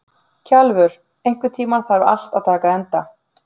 Kjalvör, einhvern tímann þarf allt að taka enda.